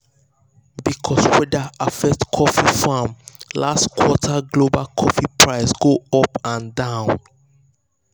because weather affect coffee farm last quarter global coffee price go up and down.